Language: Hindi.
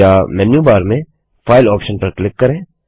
या मेन्यू बार में फाइल ऑप्शन पर क्लिक करें